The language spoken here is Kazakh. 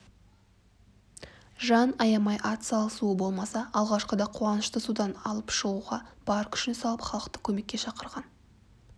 жан аямай атсалысуы болмаса алғашқыда қуанышты судан алып шығуға бар күшін салып халықты көмекке шақырған